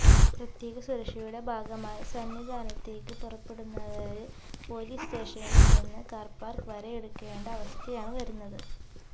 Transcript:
പ്രത്യേക സുരക്ഷയുടെ ഭാഗമായി സന്നിധാനത്തേക്ക് പുറപ്പെടുന്നവര്ക്ക് പൊലീസ് സ്റ്റേഷനില് ചെന്ന് കാര്പാസ് വരെ എടുക്കേണ്ട അവസ്ഥയാണ് വരുന്നത്